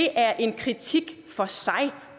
er en kritik for sig